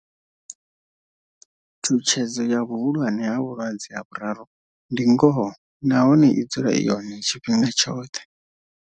Tshutshedzo ya vhuhulwane ha vhulwadze ha vhuraru ndi ngoho nahone i dzula i hone tshifhinga tshoṱhe.